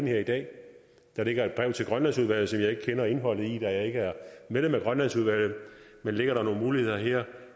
her i dag der ligger et brev til grønlandsudvalget som jeg ikke kender indholdet af da jeg ikke er medlem af grønlandsudvalget men ligger der nogle muligheder her